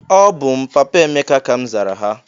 "Ọbụ m papa Emeka!", ka m zara ha.